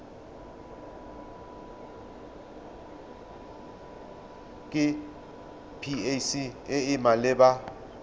ke pac e e maleba